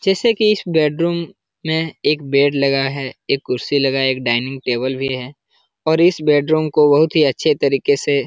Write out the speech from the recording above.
जैसे की इस बेडरूम में एक बेड लगा है। एक कुर्सी लगा है। एक डाइनिंग टेबल भी है और इस बेडरूम को बहुत ही अच्छे तरीके से --